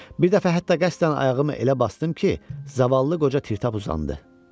Bir dəfə hətta qəsdən ayağımı elə basdım ki, zavallı qoca tirtap uzandı.